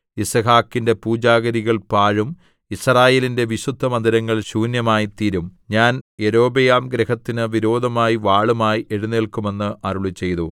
യിസ്ഹാക്കിന്റെ പൂജാഗിരികൾ പാഴും യിസ്രായേലിന്റെ വിശുദ്ധമന്ദിരങ്ങൾ ശൂന്യവുമായിത്തീരും ഞാൻ യൊരോബെയാംഗൃഹത്തിനു വിരോധമായി വാളുമായി എഴുന്നേൽക്കും എന്ന് അരുളിച്ചെയ്തു